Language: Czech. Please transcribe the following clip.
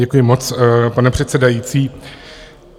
Děkuji moc, pane předsedající.